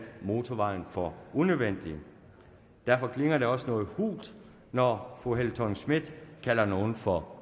motorvejen for unødvendig derfor klinger det også noget hult når fru helle thorning schmidt kalder nogen for